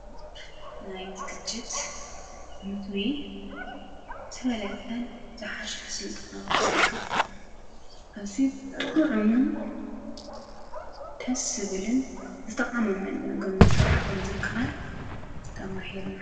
ናይ ዝግጂት ምግቢ ዝተፍለጠን ዝሓሸን ስልጠና ወስዲካ አዝዩ ጥዑሙን ደሰ ዝብልን ዝተቃመመን ምግቢ ምስራሕ ከመ ዝከኣል ተማሂርና ::